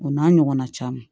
O n'a ɲɔgɔnna caman